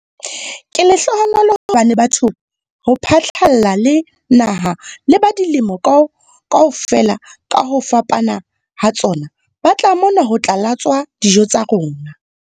Ke lehlohonolo hobane batho ho phatlalla le naha le ba dilemo kaofela ka ho fapana ha tsona ba tla mona ho tla latswa dijo tsa rona.